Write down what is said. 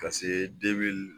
Ka se